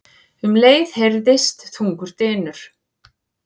Um leið heyrðist þungur dynur.